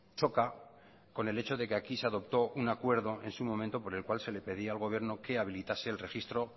choca con el hecho de que aquí se adoptó un acuerdo en su momento por el cual se le pedía al gobierno que habilitase el registro